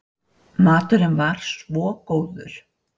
Maturinn var svo góður.